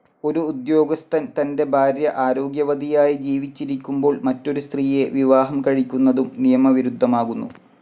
ഒരു ഉദ്യോഗസ്ഥൻ തന്റെ ഭാര്യ ആരോഗ്യവതിയായി ജീവിച്ചിരിക്കുമ്പോൾ മറ്റൊരു സ്ത്രീയെ വിവാഹം കഴിക്കുന്നതും നിയമവിരുദ്ധമാകുന്നു.